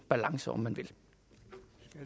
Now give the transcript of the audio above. balance om man